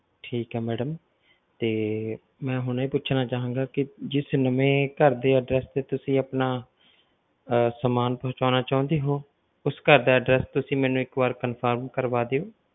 ਠੀਕ ਆ madam ਤੇ ਮੈਂ ਹੁਣ ਇਹ ਪੁੱਛਣਾ ਚਾਹਾਂਗਾ ਕਿ ਜਿਸ ਨਵੇਂ ਘਰ ਦੇ address ਤੇ ਤੁਸੀ ਆਪਣਾ ਅਹ ਸਮਾਨ ਪਹੁਚਾਉਣਾ ਚਾਹੁੰਦੇ ਹੋ, ਉਸ ਘਰ ਦਾ address ਤੁਸੀਂ ਮੈਨੂੰ ਇੱਕ ਵਾਰ confirm ਕਰਵਾ ਦਿਓ।